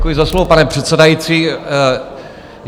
Děkuji za slovo, pane předsedající.